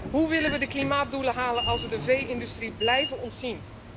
Hoe willen we de klimaatdoelen halen als we de vee industrie blijven ontzien?